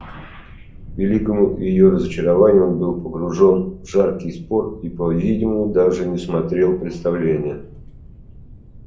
к великому её разочарованию он был погружен в жаркий спор и по-видимому даже не смотрел представления